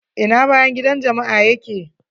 Ina bayan gidan jama'a ya ke?